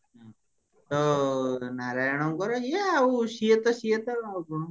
ତ ନାରାୟଣଙ୍କର ଇଏ ଆଉ ସିଏ ତ ସିଏ ତ